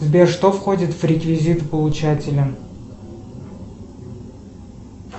сбер что входит в реквизит получателя